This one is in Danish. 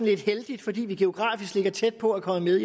lidt heldigt fordi vi geografisk ligger tæt på er kommet